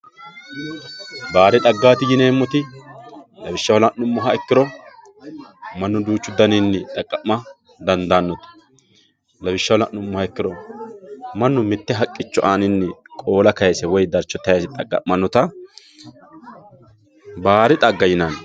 Baadi xaggati yineemmoti lawishshaho la'nuummoro mannu duuchu garinni xaqamanotta lawishshaho la'nuummoha ikkiro mannu mite haqqicho aanini qoola kayise woyi darcho tayise xaqamanotta baadi xagga yineemmo.